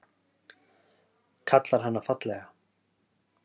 Kallar hana fallega.